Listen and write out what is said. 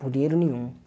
Por dinheiro nenhum.